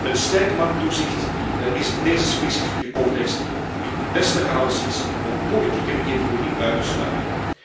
Een sterk markttoezicht biedt in deze specifieke context de beste garanties om politieke beïnvloeding uit te sluiten.